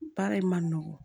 Baara in man nɔgɔn